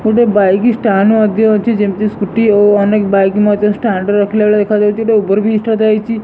ଗୋଟେ bike stand ମଧ୍ୟ ଅଛି। ଯେମତି ସ୍କୁଟି ଓ ଅନେକ୍ ବାଇକ୍ ମଧ୍ୟ ଷ୍ଟାଣ୍ଡ୍ ରେ ରଖିଲା ଭଳିଆ ଦେଖାଯାଉଚି। ଗୋଟେ ଓଭର୍ ବ୍ରିଜ୍ ଟେ ମଧ୍ୟ ଦେଖାଯାଉଚି।